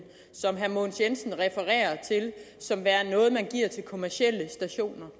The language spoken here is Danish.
som herre mogens jensen refererer til som værende noget man giver til kommercielle stationer